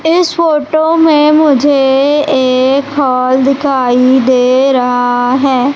इस फोटो में मुझे एक हॉल दिखाई दे रहा है।